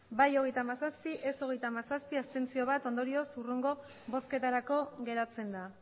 bai hogeita hamazazpi ez hogeita hamazazpi abstentzioak bat ondorioz hurrengo bozketarako geratzen da